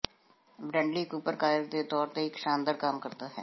Bradley Cooper Kyle ਦੇ ਤੌਰ ਤੇ ਇੱਕ ਸ਼ਾਨਦਾਰ ਕੰਮ ਕਰਦਾ ਹੈ